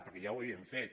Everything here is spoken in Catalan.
perquè ja ho havíem fet